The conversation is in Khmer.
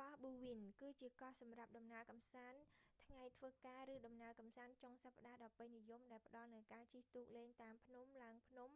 កោះបូវិន bowen គឺជាកោះសម្រាប់ដំណើរកម្សាន្តថ្ងៃធ្វើការឬដំណើរកម្សាន្តចុងសប្តាហ៍ដ៏ពេញនិយមដែលផ្តល់នូវការជិះទូកលេងតាមភ្នំ ឡើងភ្នំ